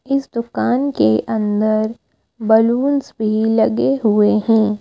इस दुकान के अंदर बलूनस भी लगे हुए हैं।